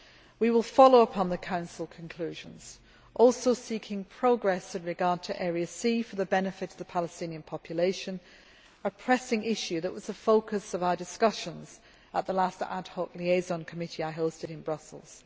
We will follow up on the Council conclusions, also seeking progress with regard to Area C for the benefit of the Palestinian population a pressing issue that was the focus of our discussions at the last Ad Hoc Liaison Committee I hosted in Brussels.